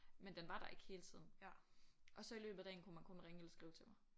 Men den var der ikke hele tiden. Og så i løbet af dagen kunne man kun ringe eller skrive til mig